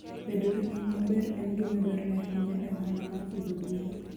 Bedo gi nying' maber en gima dwarore ahinya e ohala mar pidho gwen.